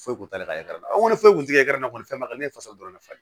Foyi t'ale ka yɔrɔ la wali foyi kun ti kɛ na kɔni fɛn ma ne faso dɔrɔn de falen